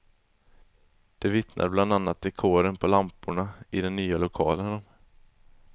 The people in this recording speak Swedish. Det vittnar bland annat dekoren på lamporna i den nya lokalen om.